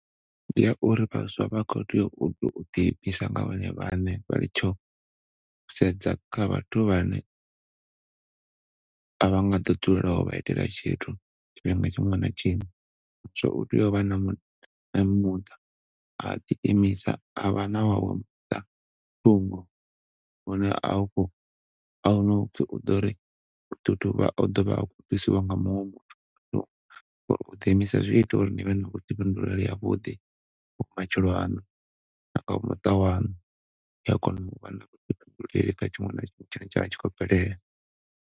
Ndi ya uri vhaswa vha kho tea u to ḓi imisa nga vhone vhaṋe vha litshe u sedza kha vhathu vhane a vha nga ḓo dzulela u vha itela tshithu tshiṅwe na tshiṅwe so utea u vha na a ḓi imisa avha na wawe muṱa thungo une a u kho ahuna upfi u ḓori u ḓo ṱo vha u ḓovha thusiwa nga muṅwe so uḓi imisa zwi ita uri nivhe na vhuḓifhinduleli ha vhuḓi ha matshilo aṋu na kha muṱa waṋu kha tshiṅwe na tshiṅwe tshine tsha vha tshi kho bvelela.